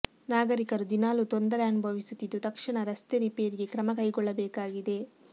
ನಾಗರಿಕರು ದಿನಾಲೂ ತೊಂದರೆ ಅನುಭವಿಸುತ್ತಿದ್ದು ತಕ್ಷಣ ರಸ್ತೆ ರಿಪೇರಿಗೆ ಕ್ರಮ ಕೈಗೊಳ್ಳಬೇಕಾಗಿದೆ